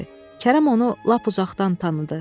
Kərəm onu lap uzaqdan tanıdı.